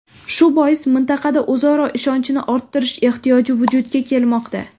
Shu bois mintaqada o‘zaro ishonchni orttirish ehtiyoji vujudga kelmoqda.